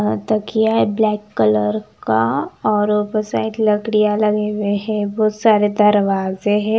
हां तकिया है ब्लैक कलर का और ऊपर साइड लकड़ियां लगे हुए हैं बहुत सारे दरवाजे है।